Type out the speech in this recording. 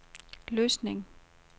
Løsning